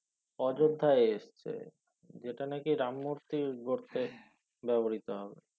অযোধায় এসচ্ছে যে টা না কি রাম মূর্তি গর্তে ব্যবহৃত হবে